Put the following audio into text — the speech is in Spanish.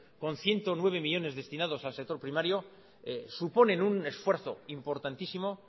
con ciento nueve millónes destinados al sector primario suponen un esfuerzo importantísimo